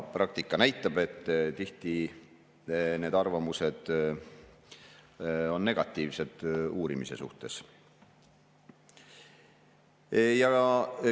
Praktika näitab, et tihti on need arvamused uurimise suhtes negatiivsed.